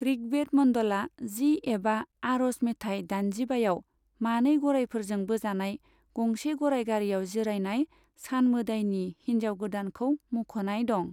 ऋग्वेद मन्डला जि एबा आरज मेथाय दाइनजिबायाव, मानै गरायफोरजों बोजानाय गंसे गराय गारियाव जिरायनाय सान मोदायनि हिनजाव गोदानखौ मख'नाय दं।